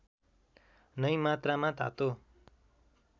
नै मात्रामा तातो